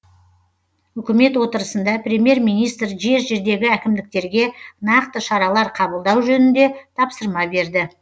үкімет отырысында премьер министр жер жердегі әкімдіктерге нақты шаралар қабылдау жөнінде тапсырма берді